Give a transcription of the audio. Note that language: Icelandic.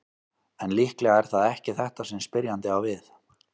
En líklega er það ekki þetta sem spyrjandi á við.